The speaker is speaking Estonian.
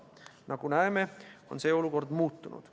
Nagu näeme, on see olukord muutunud.